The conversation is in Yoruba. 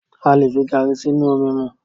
A lè fi garri sínú omi mu.